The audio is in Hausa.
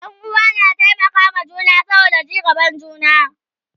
Ƴan uwa na taimaka wa juna saboda ci gaban juna